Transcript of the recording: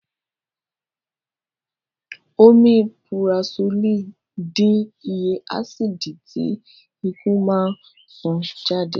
Omipurasólì dín iye ásìdì tí ikùn máa ń sún jáde